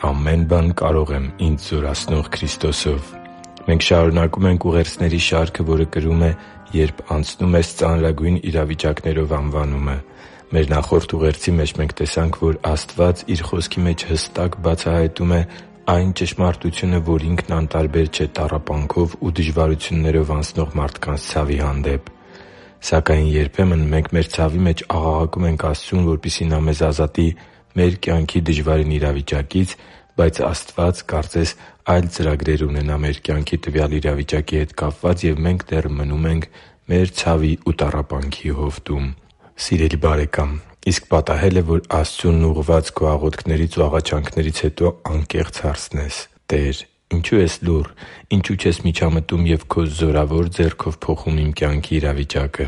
Ամեն բան կարող եմ ինձ զորացնող Քրիստոսով Մենք շարունակում ենք ուղերձների շարքը, որը կրում է «Երբ անցնում ես ծանրագույն դժվարություններով» անվանումը։ Մեր նախորդ ուղերձի մեջ տեսանք, որ Աստված Իր Խոսքի մեջ հստակ բացահայտում է այն ճշմարտությունը, որ Ինքն անտարբեր չէ տառապանքով ու դժվարություններով անցնող մարդկանց ցավի հանդեպ։ Սակայն երբեմն մենք մեր ցավի մեջ աղաղակում ենք Աստծուն, որպեսզի Նա մեզ ազատի մեր կյանքի դժվարին իրավիճակից, բայց Աստված կարծես այլ ծրագրեր ունենա մեր կյանքի տվյալ իրավիճակի հետ կապված, և մենք դեռ մնում ենք մեր ցավի ու տառապանքի հովտում․․․ Սիրելի՛ բարեկամ, իսկ պատահե՞լ է, որ Աստծուն ուղղված քո աղոթքներից ու աղաչանքներից հետո անկեղծ հարցնես․ «Տե՛ր, ինչո՞ւ ես լուռ։ Ինչո՞ւ չես միջամտում և քո զորավոր ձեռքով փոխում իմ կյանքի իրավիճակը»։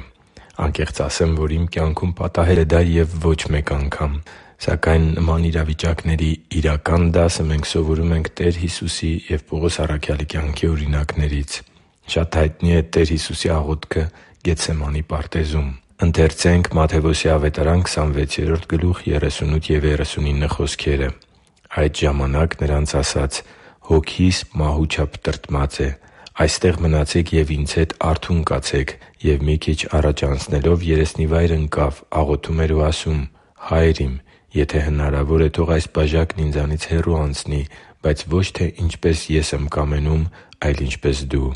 Անկեղծ ասեմ, որ իմ կյանքում պատահել է դա և ոչ մեկ անգամ․․․ Սակայն իրական դասը մենք սովորում ենք Տեր Հիսուսի և Պողոս առաքյալի կյանքի օրինակներից։ Շատ հայտնի է Տեր Հիսուսի աղոթքը Գեթսեմանի պարտեզում։ «Այդ ժամանակ նրանց ասաց. «Հոգիս մահու չափ տրտմած է. այստե՛ղ մնացեք ու Ինձ հետ արթո՛ւն կացեք»։ Եվ մի քիչ առաջանալով՝ երեսնիվայր ընկավ, աղոթում էր ու ասում. «Հա՛յր Իմ, եթե հնարավոր է, թող այս բաժակն Ինձանից հեռու անցնի. բայց ոչ թե ինչպես Ես եմ կամենում, այլ ինչպես Դու»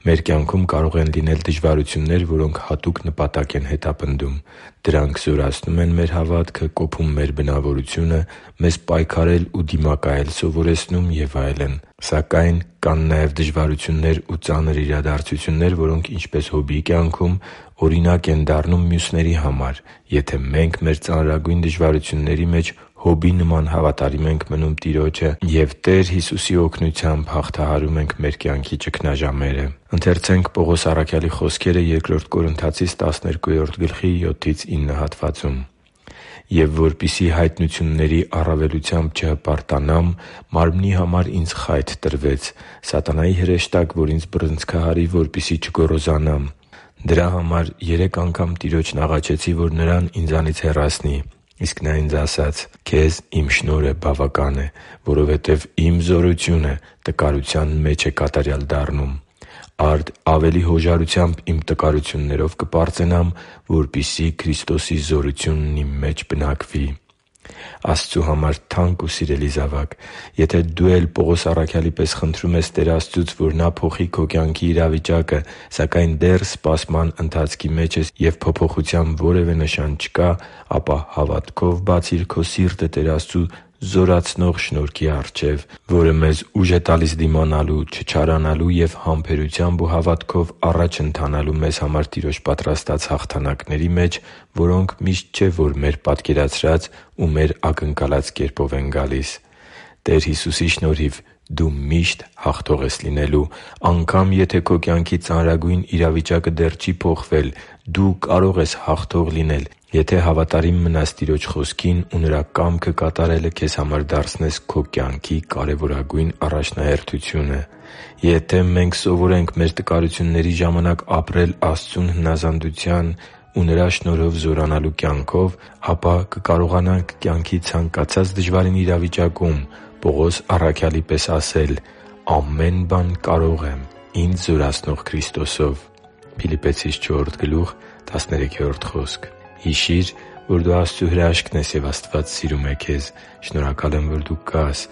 (Մատթեոս 26.38-39 ՆՎԱԱ): Մեր կյանքում կարող են լինել դժվարություններ, որոնք հատուկ նպատակ են հետապնդում։ Դրանք զորացնում են մեր հավատքը, կոփում մեր բնավորությունը, մեզ պայքարել ու դիմակայել սովորեցնում և այլն։ Սակայն կան նաև դժվարություններ ու ծանր իրադարձություններ, որոնք, ինչպես Հոբի կյանքում, օրինակ են դառնում մյուսների համար, եթե մենք մեր ծանրագույն դժվարությունների մեջ Հոբի նման հավատարիմ ենք մնում Տիրոջը և Նրա օգնությամբ ենք հաղթահարում մեր կյանքի ճգնաժամերը։ «Եվ որպեսզի հայտնությունների առավելությամբ չհպարտանամ, մարմնի համար ինձ խայթ տրվեց՝ սատանայի հրեշտակ, որ ինձ բռնցքահարի, որպեսզի չգոռոզանամ։ Դրա համար երեք անգամ Տիրոջն աղաչեցի, որ նրան ինձանից հեռացնի։ Իսկ Նա ինձ ասաց. «Քեզ Իմ շնորհը բավական է, որովհետև Իմ զորությունը տկարության մեջ է կատարյալ դառնում»։ Արդ ավելի հոժարությամբ իմ տկարություններով կպարծենամ, որպեսզի Քրիստոսի զորությունն իմ մեջ բնակվի» (Բ Կորնթացիս 12.7-9 ՆՎԱԱ): Աստծու համար թանկ ու սիրելի՛ զավակ, եթե դու էլ Պողոս առաքյալի պես խնդրում ես Տեր Աստծուց, որ Նա փոխի քո կյանքի իրավիճակը, սակայն դեռ սպասման ընթացքի մեջ ես, և փոփոխության որևէ նշան չկա, ապա հավատքով բացի՛ր քո սիրտը Տեր Աստծու զորացնող շնորհքի առջև, որը մեզ ուժ է տալիս դիմանալու, չչարանալու և համբերությամբ ու հավատքով առաջ ընթանալու մեզ համար Տիրոջ պատրաստած հաղթանակների մեջ, որոնք միշտ չէ, որ մեր պատկերացրած ու մեր ակնկալած կերպով են գալիս։ Տեր Հիսուսի շնորհիվ դու միշտ հաղթող ես լինելու։ Անգամ եթե քո կյանքի ծանրագույն իրավիճակը դեռ չի փոխվել, դու կարո՛ղ ես հաղթող լինել, եթե հավատարիմ մնաս Տիրոջ Խոսքին ու Նրա կամքը կատարելը քեզ համար դարձնես քո կյանքի կարևորագույն առաջնահերթությունը։ Եթե մենք սովորենք մեր տկարությունների ժամանակ ապրել Աստծուն հնազանդության ու Նրա շնորհով զորանալու կյանքով, ապա կկարողանանք կյանքի ցանկացած դժվարին իրավիճակում Պողոս առաքյալի պես ասել․ «Ամեն բան կարող եմ ինձ զորացնող Քրիստոսով» (Փիլիպպեցիս 4.13 ՆՎԱԱ): Հիշի՛ր, որ դու Աստծո հրաշքն ես, և Աստված սիրում է քեզ։ Շնորհակալ եմ, որ դու կա՛ս